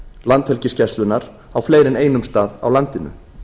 landhelgisgæslunnar á fleiri en einum stað á landinu